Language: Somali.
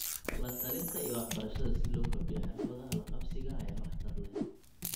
La-talinta iyo waxbarashada si loo kordhiyo xirfadaha la qabsiga ayaa waxtar leh.